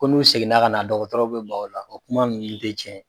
Ko n'u seginna ka na dɔgɔtɔrɔw bɛ ban o la,o kuma minnu tɛ tiɲɛ ye.